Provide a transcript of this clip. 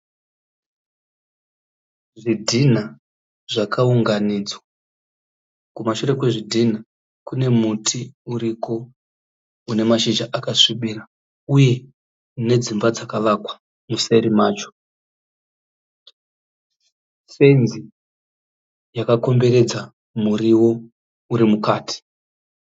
Zvidhina zvakaunganidzwa. Kumashure kwezvidhinha kune muti uriko une mashizha akasvibira uye nedzimba dzakavakwa museri macho. Fenzi yakakomberedza muriwo uri mukati.